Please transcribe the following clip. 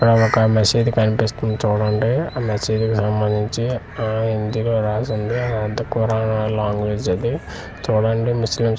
అఅ ఒక ఒక మసీదు కనిపిస్తుంది చూడండి ఆ మసీదు సంబందించి హిందీలో రాసి ఉంది అది అంత కురాన్ లాంగ్వేజ్ అది చూడండి ముస్లిమ్స్ కి--